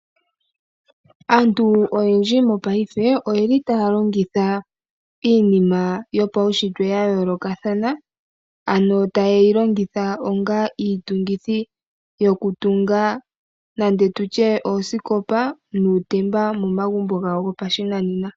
Aantu oyendji mopaife oye li taya longitha iinina yopaushitwe ya yoolokathana ano ta ye yi longitha onga iitungithi yokutunga nande tutye oosikopa nuutemba momagumbo gawo gopashinanena.